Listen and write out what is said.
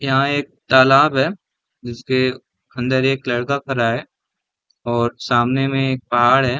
यहाँ एक तालाब है जिसके अंदर एक लड़का खड़ा है और सामने में एक पहाड़ हैं ।